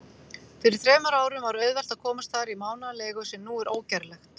Fyrir þremur árum var auðvelt að komast þar í mánaðarleigu, sem nú er ógerlegt.